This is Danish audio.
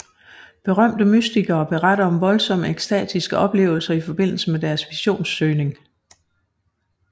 Berømte mystikere beretter om voldsomme ekstatiske oplevelser i forbindelse med deres visionssøgning